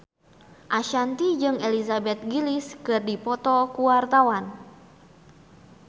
Ashanti jeung Elizabeth Gillies keur dipoto ku wartawan